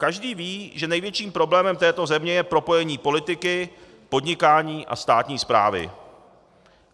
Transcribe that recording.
Každý ví, že největším problémem této země je propojení politiky, podnikání a státní správy.